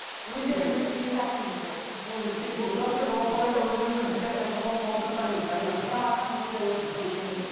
өздері біледі неге шақырды бізді мен уже кеткім сіз осы орайда өзіңіздің пікіріңізді қосып отырсаңыз қалимаш апай менің арқамды көтеріп отыр дұрыс сөз емес